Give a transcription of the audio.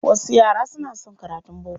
Wasu yara suna son karatun boko.